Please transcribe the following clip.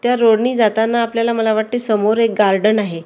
त्या रोड नी जाताना आपल्याला मला वाटतंय समोर एक गार्डन आहे.